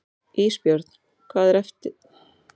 Ísbjörn, hvað er mikið eftir af niðurteljaranum?